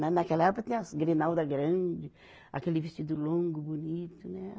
Lá naquela época tinha as grinalda grande, aquele vestido longo, bonito, né